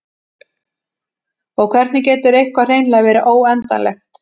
og hvernig getur eitthvað hreinlega verið óendanlegt